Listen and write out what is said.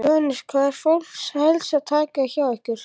Jóhannes: Hvað er fólk helst að taka hjá ykkur?